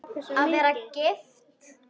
Að vera gift?